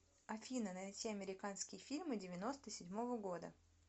афина найти американские фильмы девяноста седьмого года